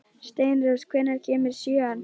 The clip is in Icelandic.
Steinrós, hvenær kemur sjöan?